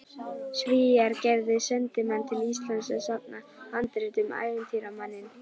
Svíar gerðu sendimann til Íslands að safna handritum, ævintýramanninn